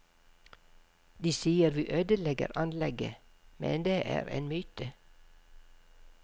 De sier vi ødelegger anlegget, men det er en myte.